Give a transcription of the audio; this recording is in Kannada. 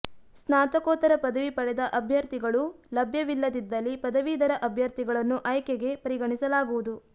ಸ್ನಾತಕೋತ್ತರ ಪದವಿ ಪಡೆದ ಅಭ್ಯಥರ್ಿಗಳು ಲಭ್ಯವಿಲ್ಲದಿದ್ದಲ್ಲಿ ಪದವೀಧರ ಅಭ್ಯಥರ್ಿಗಳನ್ನು ಆಯ್ಕೆಗೆ ಪರಿಗಣಿಸಲಾಗುವುದು